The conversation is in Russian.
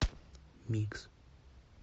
микс